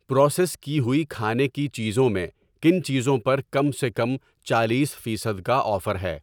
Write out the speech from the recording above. Process کی ہوئی کھانے کی چیزیں میں کن چیزوں پر کم سے کم چالیس فیصد کا آفر ہے؟